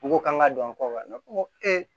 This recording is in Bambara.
N ko k'an ka don an kɔ wa ne ko